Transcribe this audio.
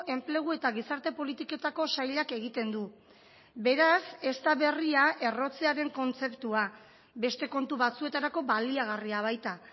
enplegu eta gizarte politiketako sailak egiten du beraz ez da berria errotzearen kontzeptua beste kontu batzuetarako baliagarria baita